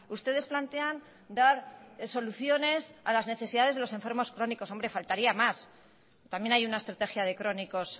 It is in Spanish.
ustedes plantean dar soluciones a las necesidades de los enfermos crónicos hombre faltaría más también hay una estrategia de crónicos